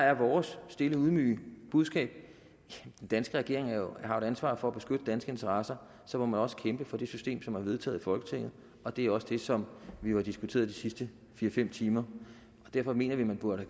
er vores stille ydmyge budskab at den danske regering jo har et ansvar for at beskytte danske interesser så må man også kæmpe for det system som er vedtaget i folketinget og det er også det som vi jo har diskuteret de sidste fire fem timer derfor mener vi at man burde